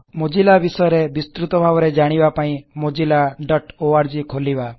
Mozilla ବିଷୟରେ ବିସ୍ତୃତ ଭାବରେ ଜାଣିବା ପାଇଁ mozillaଓଆରଜି ଖୋଲିବା